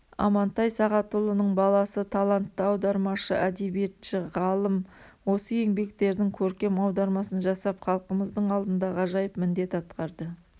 амантай сағатұлының баласы талантты аудармашы әдебиетші ғалым осы еңбектердің көркем аудармасын жасап халқымыздың алдында ғажайып міндет атқарды